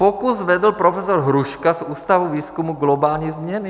Pokus vedl profesor Hruška z Ústavu výzkumu globální změny.